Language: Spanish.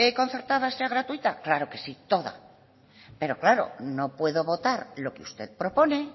concertada sea gratuita claro que sí toda pero claro no puedo votar lo que usted propone